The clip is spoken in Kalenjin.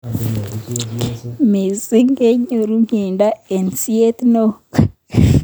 Missing konyoru mnyendo eng siet neo.